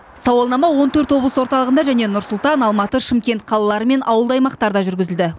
сауалнама он төрт облыс орталығында және нұр сұлтан алматы шымкент қалалары мен ауылды аймақтарда жүргізілді